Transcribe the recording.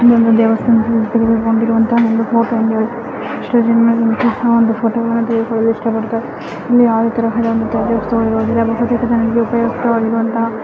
ಇದು ಒಂದು ದೇವಸ್ಥಾನದಲ್ಲಿ ತೆಗೆದಿಟ್ಟುಕೊಂಡಿರುವಂತಹ ಫೋಟೋ ಆಗಿದೆ ಎಷ್ಟೋ ಜನ ಫೋಟೋ ತೆಗೆದುಕೊಳ್ಳಲು ಇಷ್ಟಪಡುತ್ತಾರೆ ಇಲ್ಲಿ ಯಾವುದೇ ತರಹದ ಉಪಯುಕ್ತವಾಗಿರುವಂತಹ--